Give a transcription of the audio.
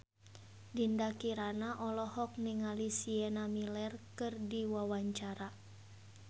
Dinda Kirana olohok ningali Sienna Miller keur diwawancara